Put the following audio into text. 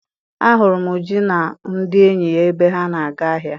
A hụrụ m Uju na ndị enyi ya ebe ha na-aga ahịa.